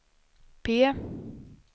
P